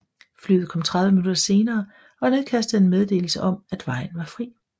Flyet kom 30 minutter senere og nedkastede en meddelelse om at vejen var fri